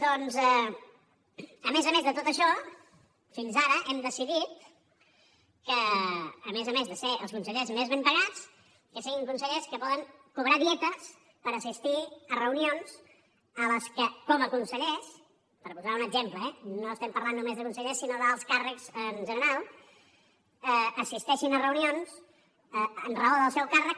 doncs a més a més de tot això fins ara hem decidit que a més a més de ser els consellers més ben pagats siguin consellers que poden cobrar dietes per assistir a reunions a què com a consellers per posar un exemple eh no parlem només de consellers sinó d’alts càrrecs en general assisteixin a reunions per raó del seu càrrec